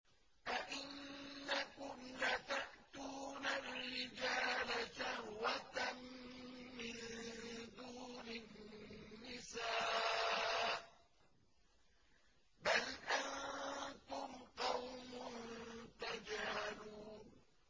أَئِنَّكُمْ لَتَأْتُونَ الرِّجَالَ شَهْوَةً مِّن دُونِ النِّسَاءِ ۚ بَلْ أَنتُمْ قَوْمٌ تَجْهَلُونَ